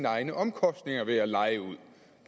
egne omkostninger ved at leje ud